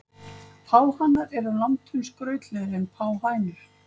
Páhanar eru langtum skrautlegri en páhænur.